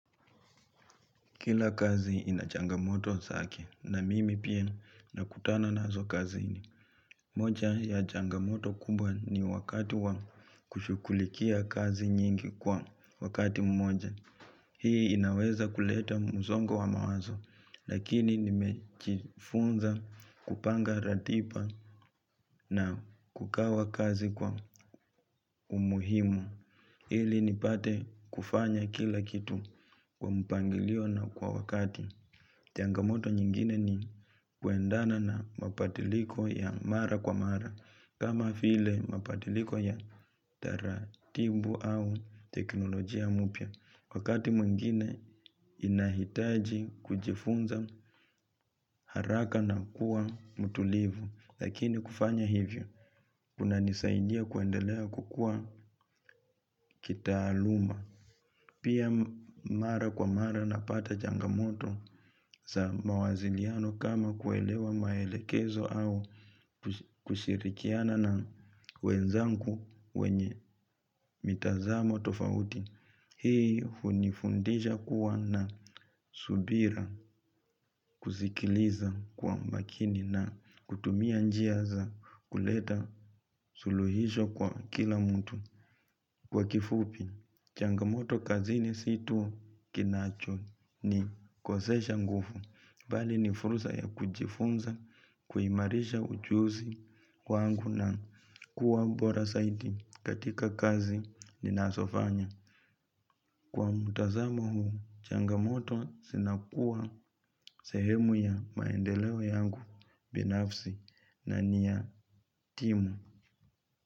Kila kazi inachangamoto zake na mimi pia nakutana nazo kaziini. Moja ya changamoto kubwa ni wakati wa kushughulikia kazi nyingi kwa wakati mmoja. Hii inaweza kuleta musongo wa mawazo lakini nimejifunza kupanga ratiba na kugawa kazi kwa umuhimu. Ili nipate kufanya kila kitu kwa mpangilio na kwa wakati. Changamoto nyingine ni kuendana na mabadiliko ya mara kwa mara kama vile mabadiliko ya taratibu au teknolojia mpya. Wakati mwengine inahitaji kujifunza haraka na kuwa mtulivu lakini kufanya hivyo kuna nisaidia kuendelea kukua kitaaluma. Pia mara kwa mara napata changamoto za mawasiliano kama kuelewa maelekezo au kushirikiana na wenzangu wenye mitazamo tofauti. Hii hunifundisha kuwa na subira kuzikiliza kwa makini na kutumia njia za kuleta suluhisho kwa kila mtu. Kwa kifupi, changamoto kazini si tu kinachonikosesha nguvu, bali ni fursa ya kujifunza, kuimarisha ujuzi kwangu na kuwa bora zaidi katika kazi ninazofanya. Kwa mtazamo huu, changamoto zinakuwa sehemu ya maendeleo yangu binafsi na ni ya timu.